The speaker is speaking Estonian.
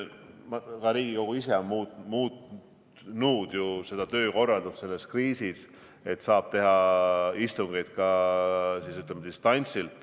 Ka Riigikogu ise on selles kriisis muutnud töökorraldust, et saab teha istungeid ka, ütleme, distantsilt.